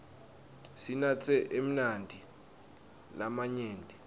sinatse emanti lamanyenti